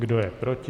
Kdo je proti?